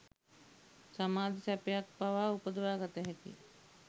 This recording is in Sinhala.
සමාධි සැපයක් පවා උපදවා ගත හැකිය